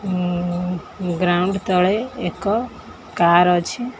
ଉଁ ଗ୍ରାଉଣ୍ଡ ତଳେ ଏକ କାର ଅଛି।